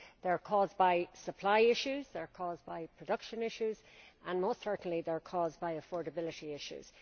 They are caused by supply issues, they are caused by production issues and, most certainly, they are caused by affordability issues.